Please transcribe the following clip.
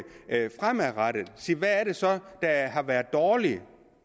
så er har været dårligt